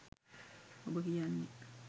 ඔබ කියන්නේ